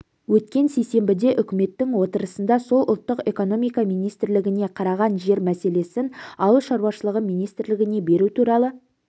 өткен сейсенбіде үкіметтің отырысында сол ұлттық экономика министрлігіне қараған жер мәселесін ауыл шаруашылығы министрлігіне беру туралы